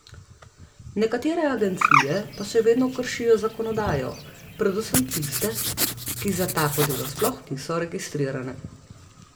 Nekatere agencije pa še vedno kršijo zakonodajo, predvsem tiste, ki za tako delo sploh niso registrirane.